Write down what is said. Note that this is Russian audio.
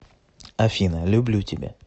афина люблю тебя